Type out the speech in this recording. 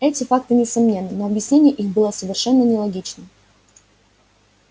эти факты несомненны но объяснение их было совершенно нелогичным